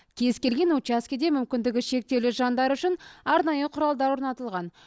кез келген учаскеде мүмкіндігі шектеулі жандар үшін арнайы құралдар орнатылған